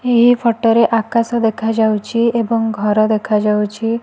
ଏହି ଫଟ ରେ ଆକାଶ ଦେଖାଯାଉଚି ଏବଂ ଘର ଦେଖାଯାଉଚି।